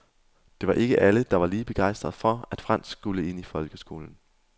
Det var ikke alle, der var lige begejstrede for, at fransk skulle ind i folkeskolen.